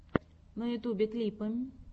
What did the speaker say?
на ютубе клипы